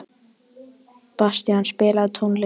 Bastían, spilaðu tónlist.